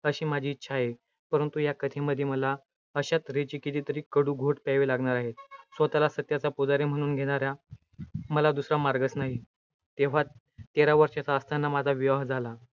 अशी माझी इच्छा आहे. परंतु या कथेमध्ये मला अशा तर्हेचे कितीतरी कडू घोट प्यावे लागणार आहेत. स्वतःला सत्याचा पुजारी म्हणवून घेणा-या मला दुसरा मार्गच नाही. तेरा वर्षाचा असताना माझा विवाह झाला,